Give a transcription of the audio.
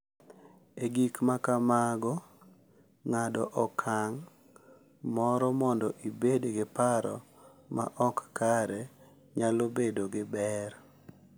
E gik ma kamago, ng’ado okang’ moro mondo ibed gi paro ma ok kare nyalo bedo gi ber.